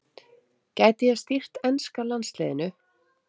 Gæti ég stýrt enska landsliðinu?